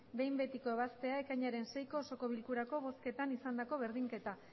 behin betiko ebaztea ekainaren seiko osoko bilkurako bozketan izandako berdinketak